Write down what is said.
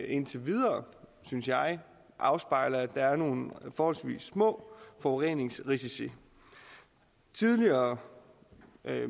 indtil videre synes jeg afspejler at der er nogle forholdsvis små forureningsrisici tidligere